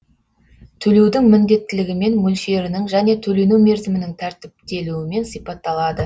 төлеудің міндеттілігімен мөлшерінің және төлену мерзімінің тәртіптелуімен сипатталады